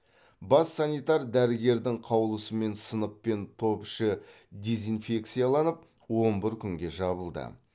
бас санитар дәрігердің қаулысымен сынып пен топ іші дезинфекцияланып он бір күнге жабылды